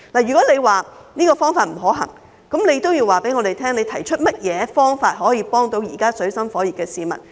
如果政府認為這方法不可行，請告訴我們有甚麼方法幫助現時處於水深火熱的市民。